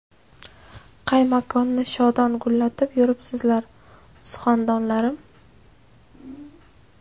Qay makonni shodon gullatib, Yuribsizlar suxandonlarim?